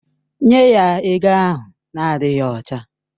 Nye ya ego ahụ na-adịghị ọcha!